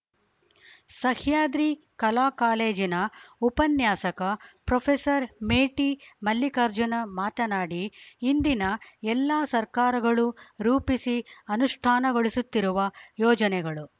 ಸಹ್ಯಾದ್ರಿ ಕಲಾ ಕಾಲೇಜಿನ ಉಪನ್ಯಾಸಕ ಪ್ರೊಫೆಸರ್ ಮೇಟಿ ಮಲ್ಲಿಕಾರ್ಜುನ ಮಾತನಾಡಿ ಇಂದಿನ ಎಲ್ಲಾ ಸರ್ಕಾರಗಳು ರೂಪಿಸಿ ಅನುಷ್ಠಾನಗೊಳಿಸುತ್ತಿರುವ ಯೋಜನೆಗಳು